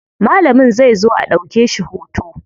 Malam zai zo a ɗauke shi hoto.